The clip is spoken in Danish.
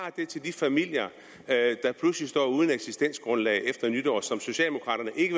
til de familier der pludselig står uden eksistensgrundlag efter nytår og som socialdemokraterne ikke